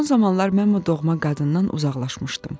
Son zamanlar mən bu doğma qadından uzaqlaşmışdım.